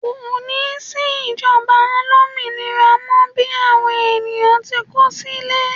ko ni sí ìjoba alominira mọ bi awon ènìyàn ti n kọ sílè